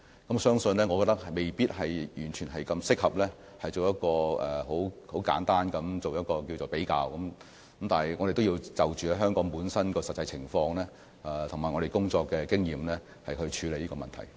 我覺得未必完全適合作出很簡單的比較，我們要按香港本身的實際情況及我們的工作經驗，處理這個問題。